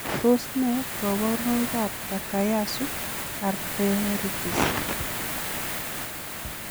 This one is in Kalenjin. Tos nee koborunoikab Takayasu arteritis?